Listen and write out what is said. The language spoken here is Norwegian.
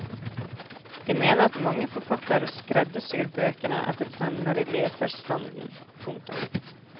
De mener at mange forfattere skreddersyr bøkene etter trender i leserstanden. punktum